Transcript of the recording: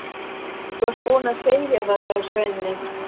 Þú varst búinn að segja það, sagði Svenni.